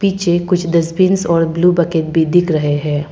जे कुछ डस्टबिन्स और blue bucket भी दिख रहे हैं।